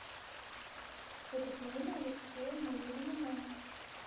екатерина алексеевна еремина